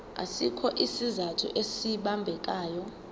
asikho isizathu esibambekayo